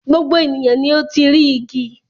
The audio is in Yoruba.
Gbogbo ènìyàn ni ó ti rí igi.